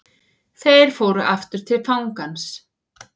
Þeir fóru aftur til fangans.